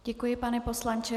Děkuji, pane poslanče.